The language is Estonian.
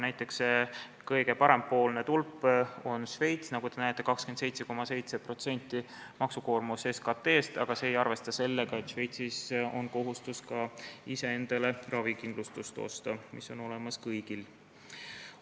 Näiteks, see kõige parempoolne tulp on Šveits, nagu te näete, maksukoormus on 27,7% SKT-st, aga see ei arvesta sellega, et Šveitsis on kohustus ka iseendale ravikindlustus osta, see on kõigil olemas.